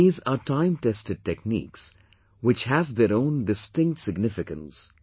These are time tested techniques, which have their own distinct significance